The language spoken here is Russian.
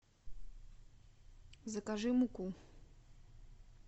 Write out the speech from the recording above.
закажи муку